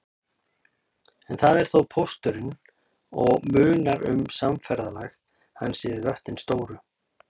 En það er þá pósturinn og munar um samferðalag hans yfir vötnin stóru.